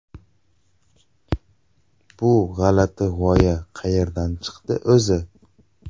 Bu g‘alati g‘oya qayerdan chiqdi o‘zi?